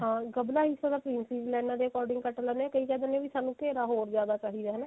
ਹਾਂ ਗਭਲਾ ਹਿੱਸਾ ਤਾਂ princess ਲਾਈਨਾ ਦੇ accordingਕੱਟ ਲੈਂਦੇ ਹਾਂ ਕਈ ਕਿਹ ਦਿੰਦੇ ਆ ਸਾਨੂੰ ਘੇਰਾ ਹੋਰ ਜਿਆਦਾ ਚਾਹੀਦਾ ਹਨਾ